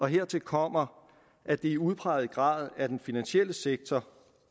hertil kommer at det i udpræget grad er den finansielle sektor